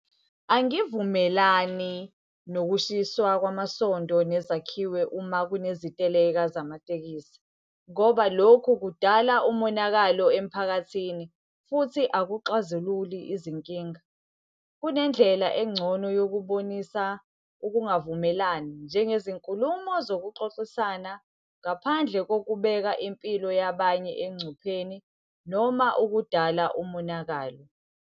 Angivumelani nokushiswa kwamasondo nezakhiwo uma kuneziteleka zamatekisi ngoba lokhu kudala umonakalo emphakathini, futhi akuxazululi izinkinga. Kunendlela engcono yokubonisa ukungavumelani, njengezinkulumo zokuxoxisana, ngaphandle kokubeka impilo yabanye engcupheni noma ukudala umonakalo.